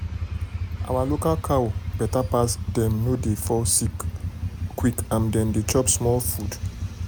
our local cow better pass dem no dey fall sick quick and dem dey chop small food.